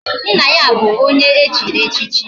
Nna ya bu onye echiri echichi